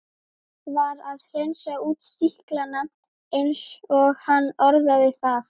Var að hreinsa út sýklana eins og hann orðaði það.